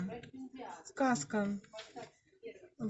сказка